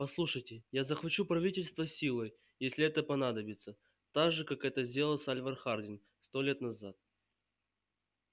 послушайте я захвачу правительство силой если это понадобится так же как это сделал сальвор хардин сто лет назад